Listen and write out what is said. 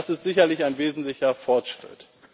Das ist sicherlich ein wesentlicher Fortschritt.